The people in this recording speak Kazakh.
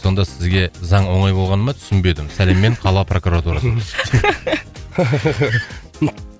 сонда сізге заң оңай болғаны ма түсінбедім сәлеммен қала прокуратурасы